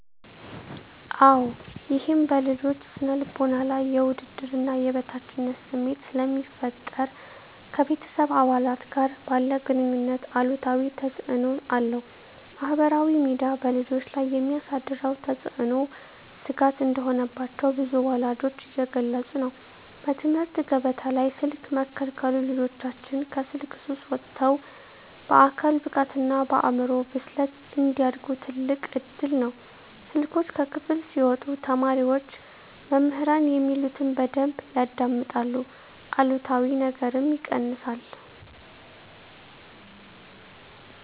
-አወ ይህም በልጆች ስነ ልቦና ላይ የውድድርና የበታችነት ስሜት ስለሚፈጠር ... ከቤተሰብ አባላት ጋር ባለ ግኑኝነት አሉታዊ ተፅእኖ አለው። -ማኅበራዊ ሚዲያ በልጆች ላይ የሚያሳድረው ተጽዕኖ ስጋት እንደሆነባቸው ብዙ ወላጆች እየገለጹ ነው። -በትምህርት ገበታ ላይ ስልክ መከልከሉ ልጆቻችን ከስልክ ሱስ ወጥተው በአካል ብቃትና በአእምሮ ብስለት እንዲያድጉ ትልቅ እድል ነው። ስልኮች ከክፍል ሲወጡ ተማሪዎች መምህራን የሚሉትን በደንብ ያዳምጣሉ አሉታዊ ነገርም ይቀንሳል።